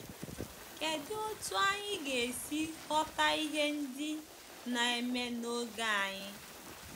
Kedụ otú anyị ga-esi ghọta ihe ndị na-eme n’oge anyị?